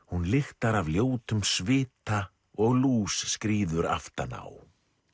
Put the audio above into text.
hún lyktar af ljótum svita og lús skríður aftan á